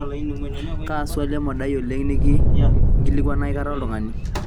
kaa swali emodai oleng nikinkilikuana aikata oltung'ani